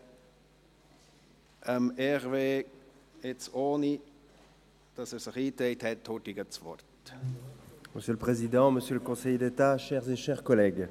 Ich gebe Hervé Gullotti das Wort, ohne dass er sich in die Rednerliste eingetragen hat.